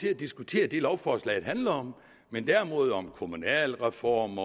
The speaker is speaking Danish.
har diskuteret det lovforslaget handler om men derimod talt om kommunalreformen